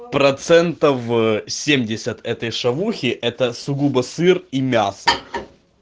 процентов ээ семьдесят этой шавухи это сугубо сыр и мясо